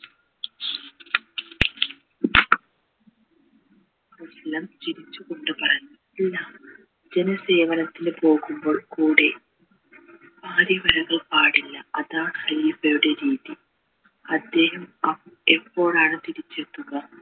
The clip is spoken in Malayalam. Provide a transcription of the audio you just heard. ചിരിച്ചുകൊണ്ട് പറഞ്ഞു ഇല്ല പൊതു സേവനത്തിന് പോകുമ്പോൾ കൂടെ പാടില്ല അതാണ് ഹരീ യുടെ രീതി അദ്ദേഹം ഏർ എപ്പോഴാണ് തിരിച്ചെത്തുക